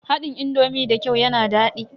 Haɗin indomi da kyau yana daɗi.